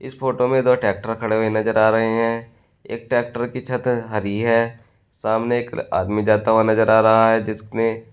इस फोटो में दो ट्रैक्टर खड़े हुए नजर आ रहे हैं एक ट्रैक्टर की छत हरि है सामने एक आदमी जाता हुआ नजर आ रहा है जिसने--